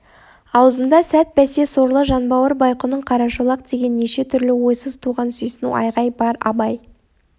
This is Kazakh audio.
аузында сәт бәсе сорлы жанбауыр байқұның қарашолақ деген неше түрлі ойсыз туған сүйсіну айғай бар абай